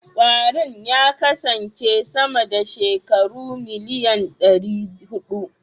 Kwarin ya kasance sama da shekaru miliyan ɗari huɗu.